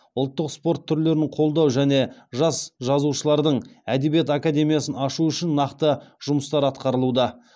ұлттық спорт түрлерін қолдау және жас жазушылардың әдебиет академиясын ашу үшін нақты жұмыстар атқарылуда